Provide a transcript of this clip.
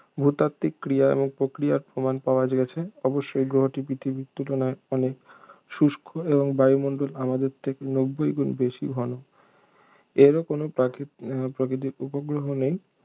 ভূতাত্ত্বিক ক্রিয়া এবং প্রক্রিয়ার প্রমাণ পাওয়া গেছে অবশ্যই গ্রহটি পৃথিবীর তুলনায় অনেক শুষ্ক এবং বায়ুমণ্ডল আমাদের থেকে নব্বই গুণ বেশি ঘন এরও কোন প্রাকৃ প্রকিতিক উপগ্রহ নেই